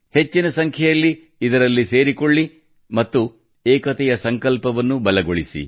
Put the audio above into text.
ಹೆಚ್ಚಿನ ಸಂಖ್ಯೆಯಲ್ಲಿ ಇದರಲ್ಲಿ ಸೇರಿಕೊಳ್ಳಿ ಮತ್ತು ಏಕತೆಯ ಸಂಕಲ್ಪವನ್ನು ಬಲಗೊಳಿಸಿ